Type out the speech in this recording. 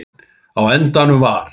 Á endanum var